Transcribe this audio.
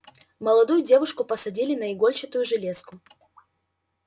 молодую девушку посадили на игольчатую железку